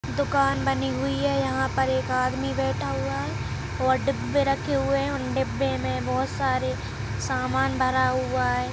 दुकान बनी हुई है यहाँ पर एक आदमी बैठा हुआ है और डब्बे रखे हुए हैं और डब्बे में बहोत सारे सामान भरा हुआ है।